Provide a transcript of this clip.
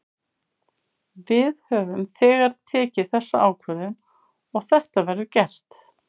Við höfum þegar tekið þessa ákvörðun og þetta verður gert.